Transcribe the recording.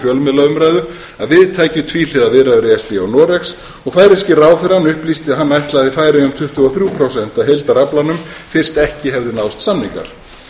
fjölmiðlaumræðu að við tækju tvíhliða viðræður e s b og noregs og færeyski ráðherrann upplýsti að hann ætlaði færeyjum tuttugu og þrjú prósent af heildaraflanum fyrst ekki hefðu náðst samningar